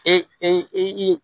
E i